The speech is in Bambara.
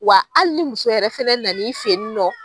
Wa ali ni muso yɛrɛ fana na n'i fɛyinɔ.